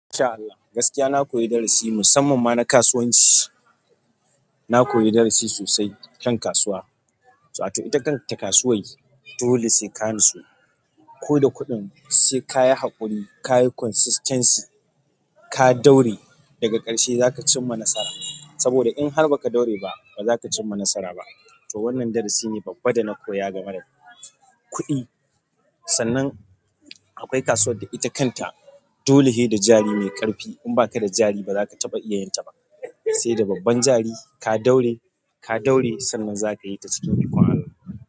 In sha Allah, gaskiya na koyi darasi musamman ma na kasuwanci. Na koyi darasi sosai kan kasuwa. To ataƙaice ita kanta kasuwan, dole sai ka nutsu. Ko da kuɗin sai ka yi haƙuri, ka yi consistency, ka daure daga ƙarshe za ka cimma nasara. Sabo da inhar baka daure ba, baza ka cimma nasara ba. To wannan darasi ne babba da na koya game da kuɗi. Sannan akwai kasuwar da ita kanta dole shi da jari mai ƙarfi. In ba ka da jari ba za ka taɓa iya yin ta ba, sai da babban jari ka daure, ka daure sannan za ka yi ta ciki ikon Allah.